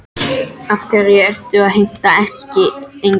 Af hverju ertu að heimta erkiengla?